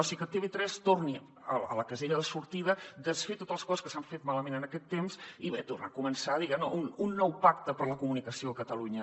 o sigui que tv3 torni a la casella de sortida desfer totes les coses que s’han fet malament en aquest temps i bé tornar a començar diguem ne un nou pacte per a la comunicació a catalunya